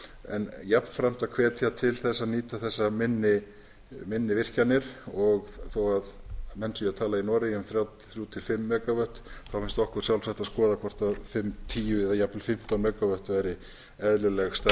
en jafnframt að hvetja til þess að nýta þessar minni virkjanir þó að menn séu að tala í noregi um þrjú til fimm mega vöttum finnst okkur sjálfsagt að skoða hvort fimm tíu eða jafnvel fimmtán mega vöttum væri eðlileg